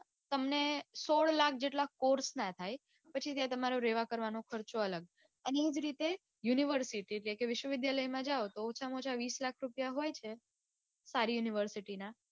તમને સોળ લાખ જેટલા course ના થાય પછી ત્યાં તમારો રેવા કરવાનો ખર્ચો અલગ અને એવી રીતે university છે કે વિશ્વવિદ્યાલયમાં જાઓ તો ઓછામાં ઓછા વિસ લાખ રૂપિયા હોય છે university ના